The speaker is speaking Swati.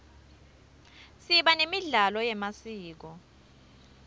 siba nemidlalo yemasiko